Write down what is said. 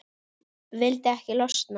Vildi ekki losna.